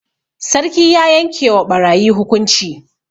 Sarki ya yanke wa ɓarayi hukunci.